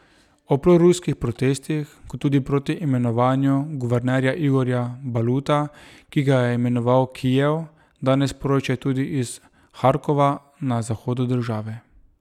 O proruskih protestih, kot tudi proti imenovanju guvernerja Igorja Baluta, ki ga je imenoval Kijev, danes poročajo tudi iz Harkova na zahodu države.